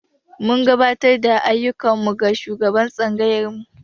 Mun gabatar da ayyukan mu ga shugaban tsangayarmu.